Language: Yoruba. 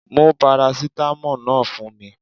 Mú paracetamol náà fún mi